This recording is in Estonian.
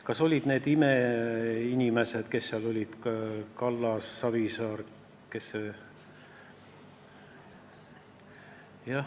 Kas need olid imeinimesed, kes seal olid: Kallas, Savisaar jt?